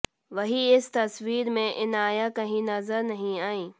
वहीं इस तस्वीर में इनाया कहीं नजर नहीं आई